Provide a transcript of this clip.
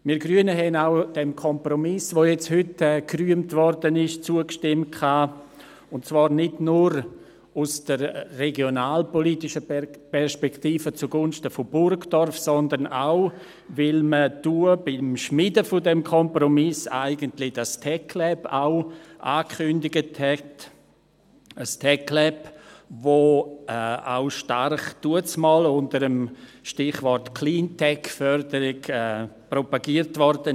Wir Grüne haben auch dem Kompromiss, der heute gerühmt wurde, zugestimmt, und zwar nicht nur aus der regionalpolitischen Perspektive zugunsten von Burgdorf, sondern auch, weil man damals beim Schmieden dieses Kompromisses das TecLab auch angekündigt hatte, ein TecLab, das damals auch stark unter dem Stichwort Cleantech-Förderung propagiert wurde.